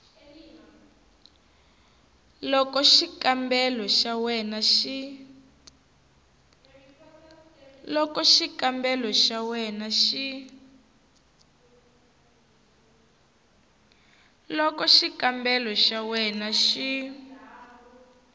loko xikombelo xa wena xi